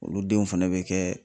Olu denw fɛnɛ bɛ kɛ.